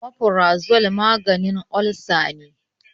omaforazol maganin olsa ne